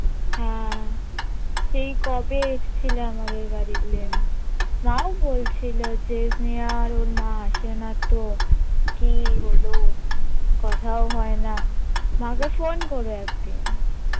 হ্যাঁ সেই কবে এসছিলে আমাদের বাড়িতে মাও বলছিলো যে স্নেহা আর ওর মা আসে না তো কি হলো কথাও হয় না মা কে phone করো একদিন